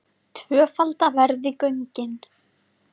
Tvöfalda verði göngin